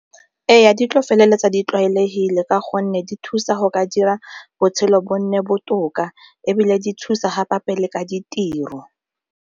Ee, di tla feleletsa di tlwaelegile ka gonne di thusa go ka dira botshelo bo nne botoka ebile di thusa gape-gape le ka ditiro.